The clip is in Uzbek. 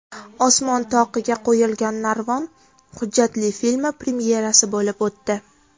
Osmon toqiga qo‘yilgan narvon” hujjatli filmi premyerasi bo‘lib o‘tdi.